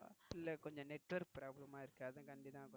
இல்ல கொஞ்சம் network problem ஆஹ் இருக்கு அதன்கடி தான்.